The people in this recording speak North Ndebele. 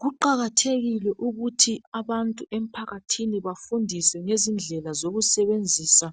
Kuqakathekile ukuthi abantu émphakathini bafundiswe ngezindlela zokusebenzisa